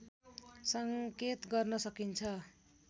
संकेत गर्न सकिन्छ